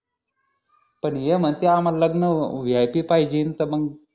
पण हे म्हणतील आम्हाला लग्न VIP पाहिजीन तर मग